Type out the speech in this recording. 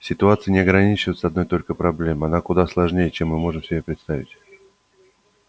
ситуация не ограничивается одной только проблемой она куда сложнее чем мы можем себе представить